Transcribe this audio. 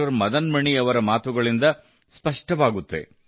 ಮದನ್ ಮಣಿ ಅವರ ಮಾತುಗಳಿಂದ ಸ್ಪಷ್ಟವಾಗುತ್ತದೆ